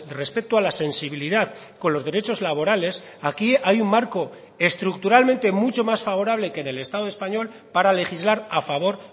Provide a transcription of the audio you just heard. respecto a la sensibilidad con los derechos laborales aquí hay un marco estructuralmente mucho más favorable que en el estado español para legislar a favor